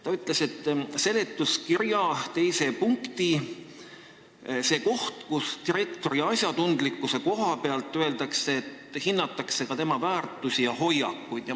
Ta ütles, et teda häiris seletuskirja teises punktis koht, kus direktori asjatundlikkuse hindamise kohta öeldakse, et hinnatakse ka tema väärtusi ja hoiakuid.